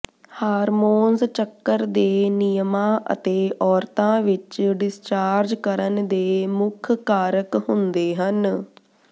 hormones ਚੱਕਰ ਦੇ ਨਿਯਮਾਂ ਅਤੇ ਔਰਤਾਂ ਵਿਚ ਡਿਸਚਾਰਜ ਕਰਨ ਦੇ ਮੁੱਖ ਕਾਰਕ ਹੁੰਦੇ ਹਨ